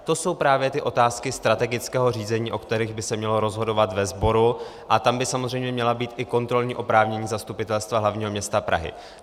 To jsou právě ty otázky strategického řízení, o kterých by se mělo rozhodovat ve sboru, a tam by samozřejmě měla být i kontrolní oprávnění Zastupitelstva hlavního města Prahy.